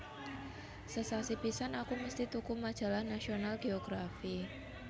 Sesasi pisan aku mesti tuku majalah National Geography